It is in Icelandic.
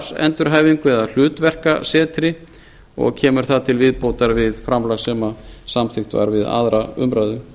ae starfsendurhæfingu eða hlutverkasetri og kemur það til viðbótar við framlag sem samþykkt var við aðra umræðu